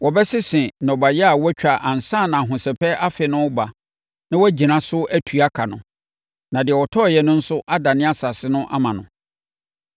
wɔbɛsese ɛso nnɔbaeɛ a wɔatwa ansa na Ahosɛpɛ Afe no reba na wɔagyina so atua ɛka no, na deɛ ɔtɔeɛ no nso adane asase no ama no.